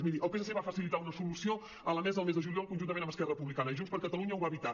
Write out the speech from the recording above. miri el psc va facilitar una solució a la mesa el mes de juliol conjuntament amb esquerra republicana i junts per catalunya ho va evitar